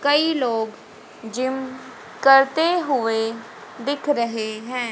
कई लोग जिम करते हुए दिख रहे हैं।